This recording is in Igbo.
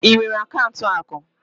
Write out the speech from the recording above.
Ị nwere akaụntụ akụ?